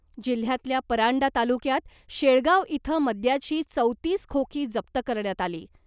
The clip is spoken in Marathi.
जिल्ह्यातल्या परांडा तालुक्यात शेळगाव इथं मद्याची चौतीस खोकी जप्त करण्यात आली .